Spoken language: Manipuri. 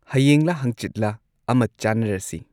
ꯍꯌꯦꯡꯂ ꯍꯪꯆꯤꯠꯂ ꯑꯃ ꯆꯥꯟꯅꯔꯁꯤ